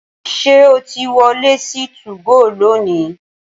Ṣé o ti wọlé sí 2GO lónìí?